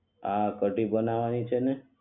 હા કઢી બનાવાની છે ને